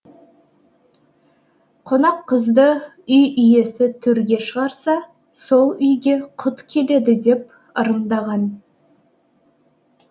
қонақ қызды үй иесі төрге шығарса сол үйге құт келеді деп ырымдаған